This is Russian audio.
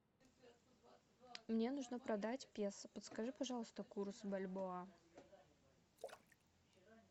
мне нужно продать песо подскажи пожалуйста курс бальбоа